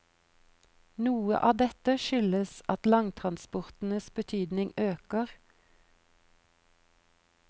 Noe av dette skyldes at langtransportenes betydning øker.